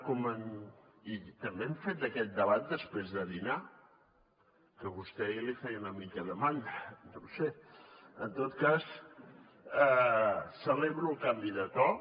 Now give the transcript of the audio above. i també hem fet aquest debat després de dinar que a vostè ahir li feia una mica de mandra no ho sé en tot cas celebro el canvi de to